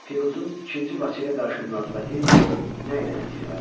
Piruzun ikinci Vaçeyə qarşı münasibəti nə ilə nəticələndi?